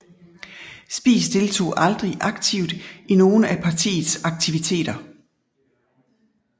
Spies deltog aldrig aktivt i nogle af partiets aktiviteter